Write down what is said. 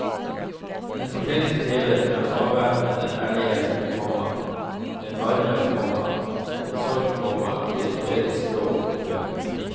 En fortelling skrevet med avvæpnende ærlighet, komma med varme, komma med sorg, komma i et poetisk språk. punktum